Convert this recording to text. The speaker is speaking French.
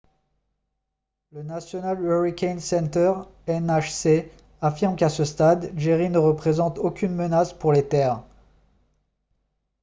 le national hurricane center nhc affirme qu'à ce stade jerry ne représente aucune menace pour les terres